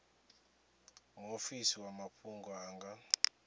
muofisi wa mafhungo a nga